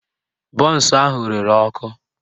Bọnsụ ahụ rere ọkụ